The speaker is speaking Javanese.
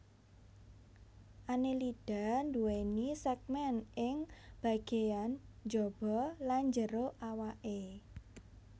Annelida nduwèni sègmèn ing bagéyan jaba lan jero awaké